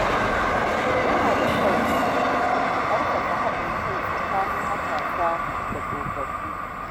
Yana da kyau a ƙarfafa haɗin kai tsakanin matasa da tsofaffi.